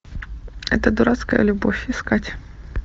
эта дурацкая любовь искать